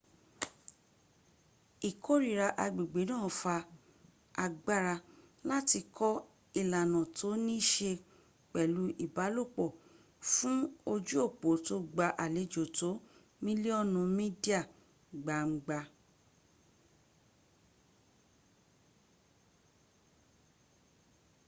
ìkórira agbègbè náà fa agbára láti kọ ìlànà tó ní ṣe pẹ̀lú ìbálòpọ́ fún ojú òpó tó gba àlejò tó mílíọ́nù mídíà gbangba